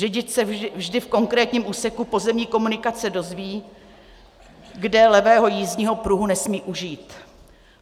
Řidič se vždy v konkrétním úseku pozemní komunikace dozví, kde levého jízdního pruhu nesmí užít.